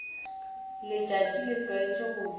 letšatši le tlwaetše go bina